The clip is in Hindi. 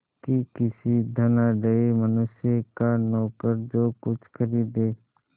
कि किसी धनाढ़य मनुष्य का नौकर जो कुछ खरीदे